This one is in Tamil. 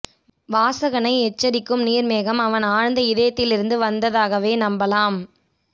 வாசகனை எச்சரிக்கும் நீர்மேகம் அவன் ஆழ்ந்த இதயத்தில் இருந்து வந்ததாகவே நம்பலாம்